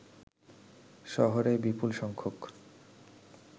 শহরে বিপুলসংখ্যক